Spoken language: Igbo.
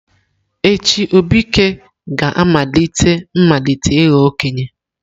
Echi, Obike ga-amalite ịmalite ịghọ okenye.